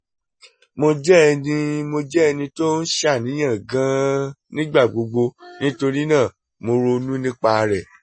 mo jẹ́ ẹni mo jẹ́ ẹni tó ń ṣàníyàn gan-an nígbà gbogbo nítorí náà mo ronú nípa rẹ̀